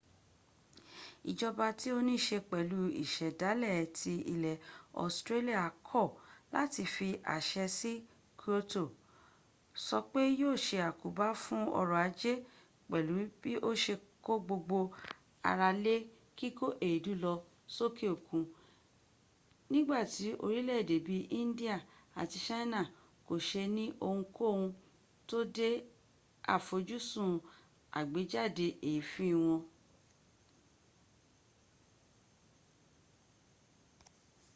ìjọba tí ó nííse pẹ̀lú ìsẹ̀dálẹ̀ ti ilẹ̀ australia kọ̀ láti fi àṣẹ si kyoto sọ pé yíò se àkóbá fún ọrọ̀ ajé pẹ̀lú bí ó se kó gbogbo ara lé kíkó èédú lọ sókè òkun nígbàtí orílẹ̀èdè bí i india àti china kò se ní ohunkóhun tó de àfojúsùn àgbéjáde èéfín wọn